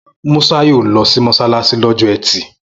Musa yóò lọ sí mọ́ṣáláṣí lọ́jọ́ ẹtì